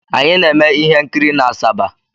Anyị na-eme ihe nkiri n'Asaba.